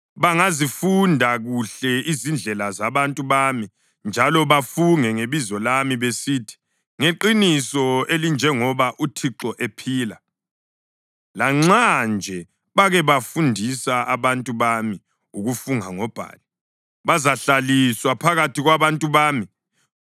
Bangazifunda kuhle izindlela zabantu bami njalo bafunge ngebizo lami besithi, ‘Ngeqiniso elinjengoba uThixo ephila’ lanxa nje bake bafundisa abantu bami ukufunga ngoBhali, bazahlaliswa phakathi kwabantu bami.